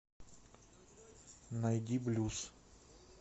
найди блюз